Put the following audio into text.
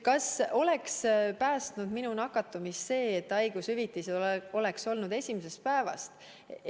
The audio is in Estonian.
Kas mind oleks nakatumisest päästnud see, kui haigushüvitis oleks olnud esimesest päevast?